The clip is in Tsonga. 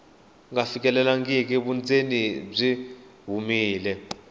nga fikelelangi vundzeni byi humile